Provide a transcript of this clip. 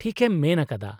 -ᱴᱷᱤᱠ ᱮᱢ ᱢᱮᱱ ᱟᱠᱟᱫᱟ !